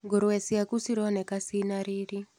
Ngũrũwe cĩaku cironeka cina riri.